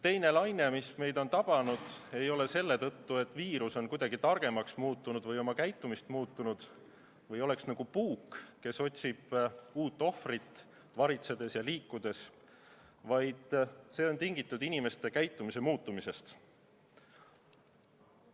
Teine laine, mis meid on tabanud, ei ole selle tõttu, et viirus on kuidagi targemaks muutunud või oma käitumist muutnud või oleks nagu puuk, kes otsib varitsedes ja liikudes uut ohvrit, vaid see on tingitud inimeste käitumise muutumisest.